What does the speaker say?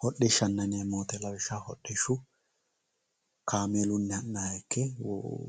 hodhishshanna yineemmo woyte lawishshaho hodhishshu kaamelunnihu ha'nayiha ikke woxe